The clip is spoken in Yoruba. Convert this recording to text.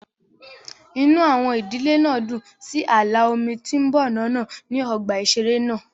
Inú àwọn ìdílé náà dùn sí ààlà omi tí ń bọ̀ lọ́nà ní ọgbà ìṣeré náà